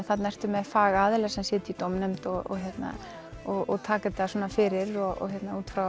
þarna ertu með fagaðila sem sitja í dómnefnd og og taka þetta fyrir út frá